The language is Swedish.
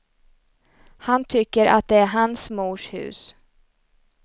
Han tycker att det är hans mors hus.